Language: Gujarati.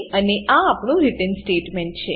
અને આ આપણું રિટર્ન રીટર્ન સ્ટેટમેંટ છે